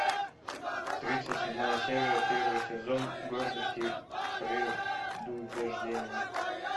тридцать седьмая серия первый сезон гордость и предубеждение